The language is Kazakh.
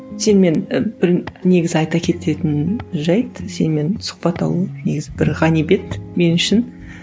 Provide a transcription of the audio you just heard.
сенімен і бір негізі айта кететін жайт сенімен сұхбат алу негізі бір ғанибет мен үшін